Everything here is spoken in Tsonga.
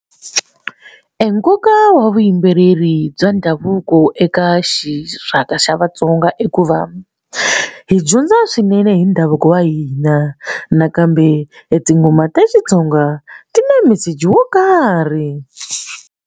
Enkoka wa vuyimbeleri bya ndhavuko eka xixaka xa vaTsonga i ku va hi dyondza swinene hi ndhavuko wa hina nakambe tinghoma ta Xitsonga ti na meseji wo karhi.